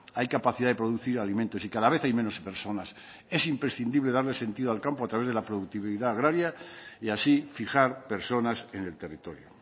hay capacidad de producir alimentos y cada vez hay menos personas es imprescindible darle sentido al campo a través de la productividad agraria y así fijar personas en el territorio